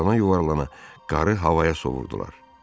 Yuvarlana-yuvarlana qarı havaya sovurdular.